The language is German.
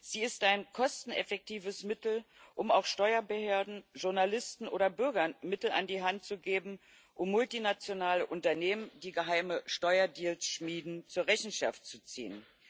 Sie ist ein kosteneffektives Mittel, um auch Steuerbehörden, Journalisten oder Bürgern Mittel an die Hand zu geben, um multinationale Unternehmen, die geheime Steuerdeals schmieden, zur Rechenschaft zu ziehen.